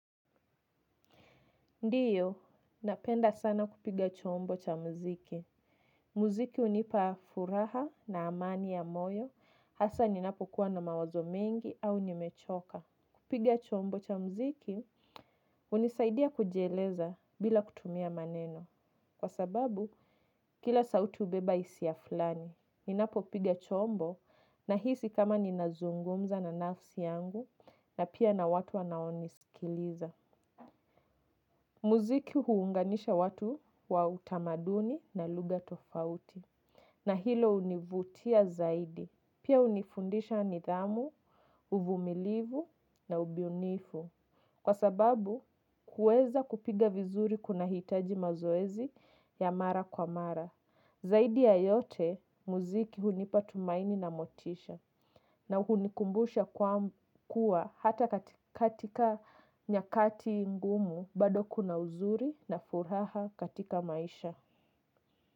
Ndiyo, napenda sana kupiga chombo cha mziki. Mziki hunipa furaha na amani ya moyo, hasa ninapokuwa na mawazo mengi au nimechoka. Kupiga chombo cha mziki, hunisaidia kujieleza bila kutumia maneno. Kwa sababu, kila sauti hubeba hisia flani. Ninapo piga chombo, nahisi kama ninazungumza na nafsi yangu, na pia na watu wanaonisikiliza. Muziki huunganisha watu wa utamaduni na lugha tofauti na hilo hunivutia zaidi. Pia hunifundisha nidhamu, uvumilivu na ubunifu kwa sababu kuweza kupiga vizuri kunahitaji mazoezi ya mara kwa mara. Zaidi ya yote muziki hunipa tumaini na motisha na hunikumbusha kuwa hata katika nyakati ngumu bado kuna uzuri na furaha katika maisha.